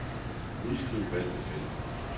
Udskriv valgte felt.